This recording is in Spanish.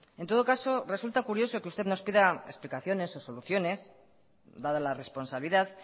en todo caso resulta curioso que usted nos pida explicaciones o soluciones dada la responsabilidad